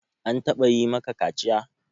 An taɓa yi maka kaciya?